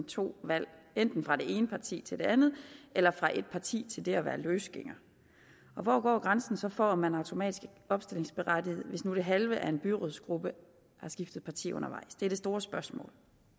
to valg enten fra det ene parti til det andet eller fra et parti til det at være løsgænger og hvor går grænsen så for om man automatisk er opstillingsberettiget hvis det halve af en byrådsgruppe har skiftet parti undervejs det er det store spørgsmål